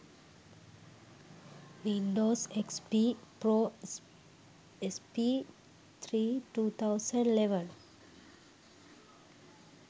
windows xp pro sp3 2011